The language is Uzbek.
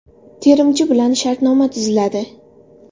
Terimchi bilan shartnoma tuziladi.